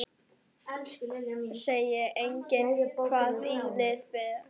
Sjá einnig: Hvaða lið falla?